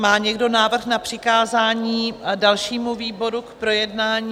Má někdo návrh na přikázání dalšímu výboru k projednání?